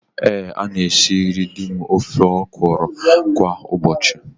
Ee, ana m esiri di m ofe ọkwụrụ kwa ụbọchị.